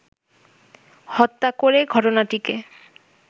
হত্যা করে ঘটনাটিকে